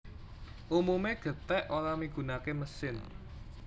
Umumé gèthèk ora migunaké mesin